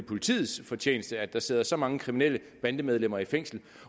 politiets fortjeneste at der sidder så mange kriminelle bandemedlemmer i fængsel